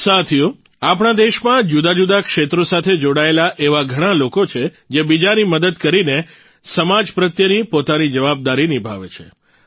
સાથીઓ આપણા દેશમાં જુદાજુદા ક્ષેત્રો સાથે જોડાયેલા એવા ઘણા લોકો છે જે બીજાની મદદ કરીને સમાજ પ્રત્યેની પોતાની જવાબદારી નિભાવે છે